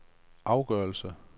afgørelse